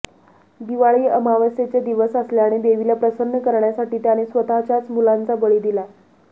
दिवाळी अमावस्येचा दिवस असल्याने देवीला प्रसन्न करण्यासाठी त्याने स्वतःच्याच मुलांचा बळी दिला